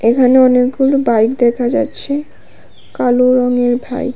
এখানে অনেকগুলো বাইক দেখা যাচ্ছে কালো রঙের বাইক ।